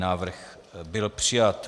Návrh byl přijat.